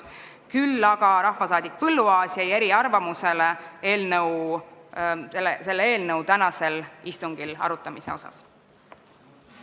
Küll aga jäi rahvasaadik Põlluaas selle eelnõu tänasel istungil arutamise osas eriarvamusele.